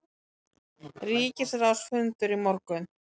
Ríkisráðsfundur í morgun